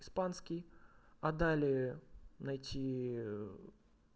испанский а далее найти